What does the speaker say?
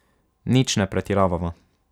Nič ne pretiravava.